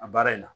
A baara in na